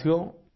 साथियों